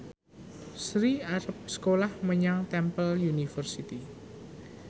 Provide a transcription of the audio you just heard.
Sri arep sekolah menyang Temple University